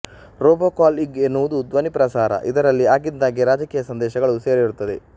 robocall ಇಂಗ್ ಎನ್ನುವುದು ಧ್ವನಿ ಪ್ರಸಾರ ಇದರಲ್ಲಿ ಆಗಿಂದಾಗ್ಗೆ ರಾಜಕೀಯ ಸಂದೇಶಗಳೂ ಸೇರಿರುತ್ತದೆ